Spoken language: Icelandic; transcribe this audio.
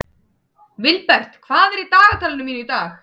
Vilbert, hvað er í dagatalinu mínu í dag?